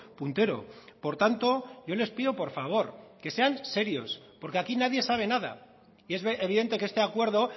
puntero por tanto yo les pido por favor que sean serios porque aquí nadie sabe nada y es evidente que este acuerdo